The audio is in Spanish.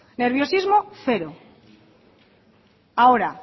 nerviosismo cero ahora